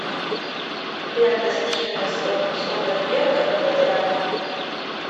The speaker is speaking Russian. лента стивена содерберга гладиатор